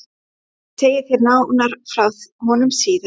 En ég segi þér nánar frá honum síðar.